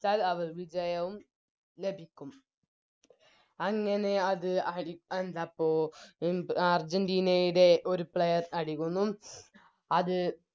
ച്ചാൽ അവർ വിജയവും ലഭിക്കും അങ്ങനെ അത് അടി ന്താപ്പോ അർജന്റീനയുടെ ഒരു Player അടിക്കുന്നു അത്